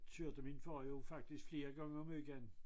Kørte min far jo faktisk flere gange om ugen